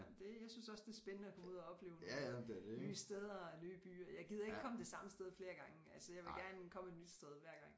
Det jeg synes også det er spændende at komme ud og opleve nogle nye steder og nye byer jeg gider ikke komme det samme sted flere gange altså jeg vil gerne komme et nyt sted hver gang